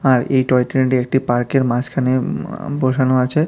আর এই টয়ট্রেনটি একটি পার্কের মাঝখানে উম আঃ বসানো আছে।